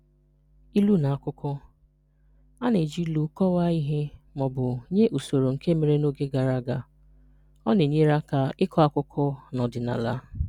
Ilu na-akọ akụkọ: A na-eji ilu kọwaa ihe ma ọ bụ nye usoro nke mere n’oge gara aga. Ọ na-enyere aka ịkọ akụkọ na ọdịnala.